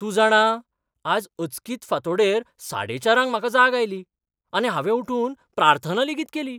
तूं जाणा, आज अचकीत फांतोड़ेर साडेचारांक म्हाका जाग आयली, आनी हावें उठून प्रार्थना लेगीत केली.